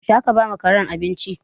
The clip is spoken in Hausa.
Yaushe aka ba wa karen abinci?